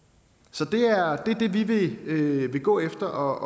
så det er det vi vil vil gå efter